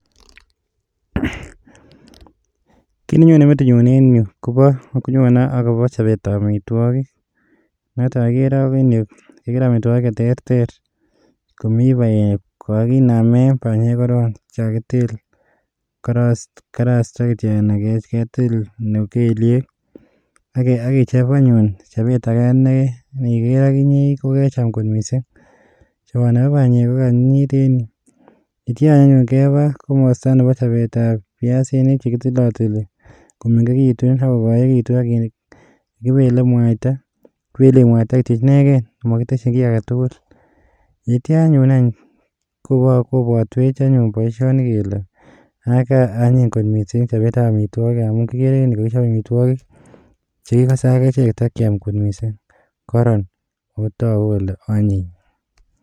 Kit nenyone metinyun en yuh koboo, nyone akobo chobetab amitwogiik, noton neogere en yuh. Agere amitwogiik, cheterter. Komi banyek, kokinamen banyeek koron, chekakitil. Karasta kityok, aketil keliek. Akechob anyun chobet age, neindiker akinye kokecham kot missing. Choboni bo banyeek ko kaanyinyit en yuh. Yeityoo anyun keba komostoo Nebo chobetab viasinik chekakitilati, komengekitun ak kokoekituun. Kibeleen mwaita kityook inegen ak mokitesyiin kit agetugul. Yeityo anyun any kobotwech boishoni, tokuu boishoni kole Antony kot missing chobetab amitwogiik. Amun kigere en yuh kokichib amitwogiik chekikose akechek takiam kot missing koron. Oko togu kole onyiny.